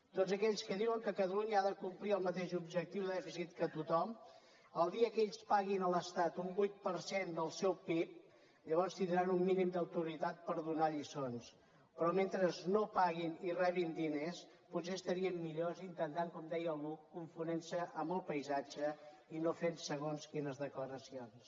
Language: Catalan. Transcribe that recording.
tots aquells que diuen que catalunya ha de complir el mateix objectiu de dèficit que tothom el dia que ells paguin a l’estat un vuit per cent del seu pib llavors tindran un mínim d’autoritat per donar lliçons però mentre no paguin i rebin diners potser estarien millor intentant com deia algú confondre’s amb el paisatge i no fent segons quines declaracions